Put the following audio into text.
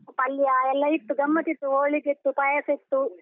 ಪಲ್ಯ ಎಲ್ಲ ಇತ್ತು, ಗಮ್ಮತ್ ಇತ್ತು, ಹೋಳಿಗೆ ಇತ್ತು, ಪಾಯಸ ಇತ್ತು.